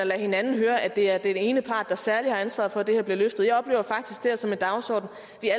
lade hinanden høre at det er den ene part der særlig har ansvaret for at det her bliver løftet jeg oplever faktisk det her som en dagsorden